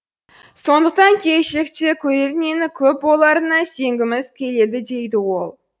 сондықтан келешекте көрермені көп боларына сенгізіміз келеді дейді ол